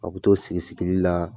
A bɛ t'o sigisigili la